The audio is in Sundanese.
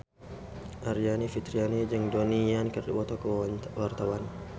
Aryani Fitriana jeung Donnie Yan keur dipoto ku wartawan